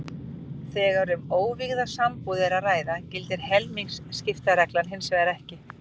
Þegar um óvígða sambúð er að ræða gildir helmingaskiptareglan hins vegar ekki.